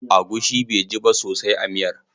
Agushi baiji ba sosai a miyar.